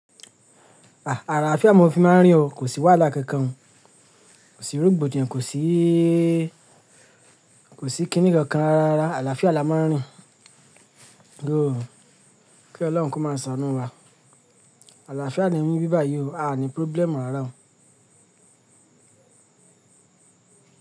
Àlàáfíà mo fi máa ń rìn o. Kò sí wàhálà kankan, kò sí rògbòdìyàn, kò sí, kò sí kiní kankan rárá rárá. Àlàáfíà la máa ń rìn. Though, kí Ọlọ́un kó máa ṣàánú wa. Àlàáfíà ni níbí báyìí o, aà ní problem rárá o.